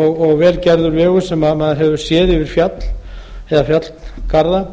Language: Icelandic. og vel gerður vegur sem maður hefur séð yfir fjall eða fjallgarða